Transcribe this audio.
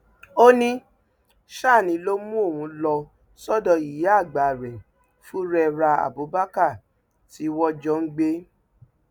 ó ní sani ló mú òun lọ sọdọ ìyáàgbà rẹ furera abubakar tí wọn jọ ń gbé